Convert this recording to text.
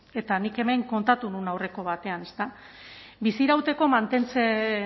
eta nik hemen kontatu nuen aurreko batean ezta bizirauteko